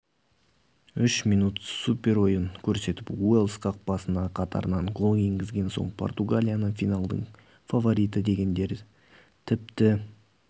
үш минут суперойын көрсетіп уэльс қақпасына қатарынан гол енгізген соң португалияны финалдың фавориті дегендер тіпті